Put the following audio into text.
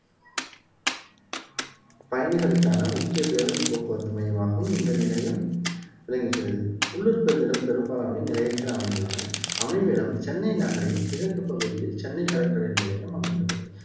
பயணிகளுக்கான முக்கிய பேருந்து போக்குவரத்து மையமாகவும் இந்த நிலையம் விளங்குகிறது உள்ளூர் பேருந்துகளில் பெரும்பாலானவை நிலையத்தில் அமைந்துள்ளன அமைவிடம் சென்னை நகரின் கிழக்கு பகுதியில் சென்னை கடற்கரை இரயில் நிலையம் அமைந்துள்ளது